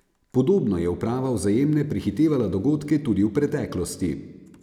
Podobno je uprava Vzajemne prehitevala dogodke tudi v preteklosti.